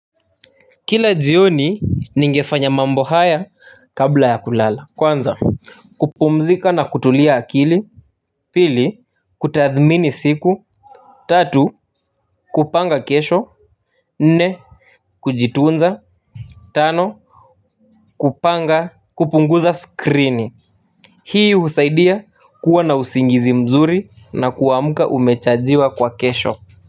Kila jioni ningefanya mambo haya kabla ya kulala kwanza kupumzika na kutulia akili pili, kutadhmini siku, tatu kupanga kesho nne kujituunza tano kupanga kupunguza skrini hii husaidia kuwa na usingizi mzuri na kuamuka umechajiwa kwa kesho.